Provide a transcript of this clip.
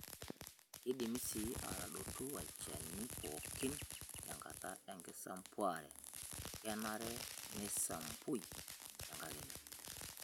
Keidimi sii aatadotu olchani pookin tenkata enkisampuare. kenare neisampui tedekenya.